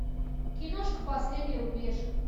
киношка последний рубеж